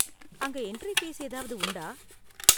அங்க entry fees ஏதாவது உண்டா?